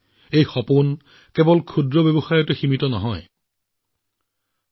এই দৃষ্টিভংগী কেৱল সৰু সৰু দোকানী আৰু ৰাজপথৰ বিক্ৰেতাৰ পৰা সামগ্ৰী ক্ৰয় কৰাত সীমাবদ্ধ নহয়